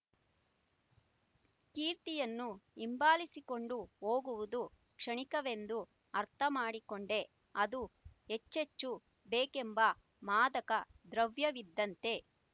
ಕೀರ್ತಿಯನ್ನು ಹಿಂಬಾಲಿಸಿಕೊಂಡು ಹೋಗುವುದು ಕ್ಷಣಿಕವೆಂದು ಅರ್ಥಮಾಡಿಕೊಂಡೆ ಅದು ಹೆಚ್ಚೆಚ್ಚು ಬೇಕೆಂಬ ಮಾದಕ ದ್ರವ್ಯವಿದ್ದಂತೆ